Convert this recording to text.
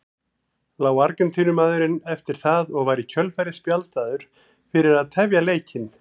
Lá Argentínumaðurinn eftir það og var í kjölfarið spjaldaður fyrir að tefja leikinn.